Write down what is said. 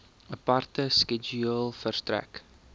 aparte skedule verstrek